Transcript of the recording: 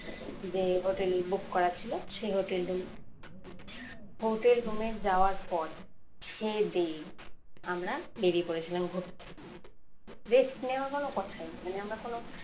যে hotel book করা ছিল সেই hotel room hotel room এ যাওয়ার পর খেয়ে দেয়ে আমরা বেরিয়ে পড়েছিলাম ঘুরতে rest নেওয়ার কোনো কথাই নেই মানে আমরা কোন